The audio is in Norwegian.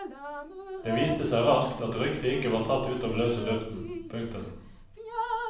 Det viste seg raskt at ryktet ikke var tatt ut av løse luften. punktum